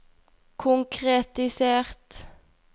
konkretisert